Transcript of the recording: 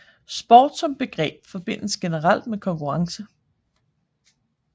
Sport som begreb forbindes generelt med konkurrence